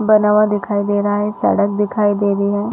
बना हुआ दिखाई दे रहा है सड़क दिखाई दे रही है।